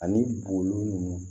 Ani bolon nunnu